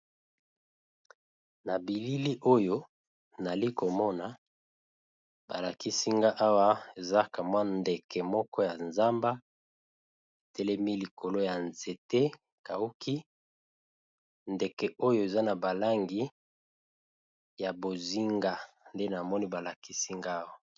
Na bilili oyo nali komona balakisinga awa ezaka mwa ndeke moko ya zamba etelemi likolo ya nzete kauki ndeke oyo eza na balangi ya bozinga nde namoni balakisinga awa.